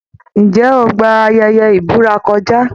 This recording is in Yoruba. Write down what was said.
Ǹjẹ́ o gba ayẹyẹ ìbúra kọjá?